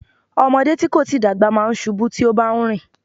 Ọmọdé tí kò tíì dàgbà máa ń ṣubú tí ó bá ń rìn.